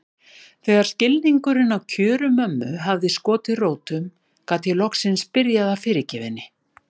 Þegar skilningurinn á kjörum mömmu hafði skotið rótum gat ég loksins byrjað að fyrirgefa henni.